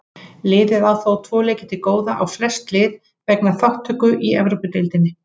Liðið á þó tvo leiki til góða á flest lið vegna þátttöku í Evrópudeildinni.